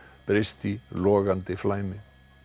breyst í logandi flæmi